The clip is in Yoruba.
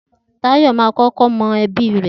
Tayo máa ń kọ́kọ́ mú ẹbí rẹ̀